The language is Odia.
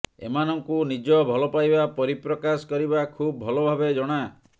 ଏମାନଙ୍କୁ ନିଜ ଭଲପାଇବା ପରିପ୍ରକାଶ କରିବା ଖୁବ୍ ଭଲ ଭାବେ ଜଣା